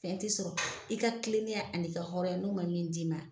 Fɛn tɛ sɔrɔ, i ka kilennenya ani ka hɔrɔnya n'o ma min d'i ma.